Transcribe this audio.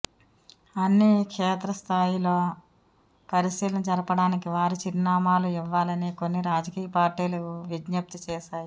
అని క్షేత్ర స్థాయిలో పరిశీలన జరపడానికి వారి చిరునామాలు ఇవ్వాలని కొన్ని రాజకీయ పార్టీలు విజ్ఞప్తి చేశాయి